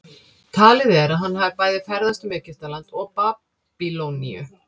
talið er að hann hafi bæði ferðast um egyptaland og babýloníu